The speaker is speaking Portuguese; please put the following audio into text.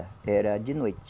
Era de noite.